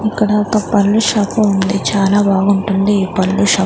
ఇక్కడ ఒక పండ్ల షాపు ఉంది చాలా బాగుంటుంది ఈ పండ్ల షాప్ .